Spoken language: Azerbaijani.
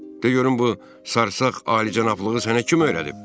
De görüm bu sarsaq alicənablığı sənə kim öyrədib?